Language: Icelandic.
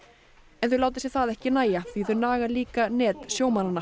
en þau láta sér það ekki nægja því þau naga líka net